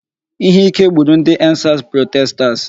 Ihe ike gburu ndị 'end sars protesters '.